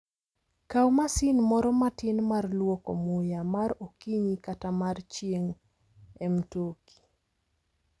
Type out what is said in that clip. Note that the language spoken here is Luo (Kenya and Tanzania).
Kaw masin moro matin mar lwoko muya mar okinyi kata mar chieng' e mtoki.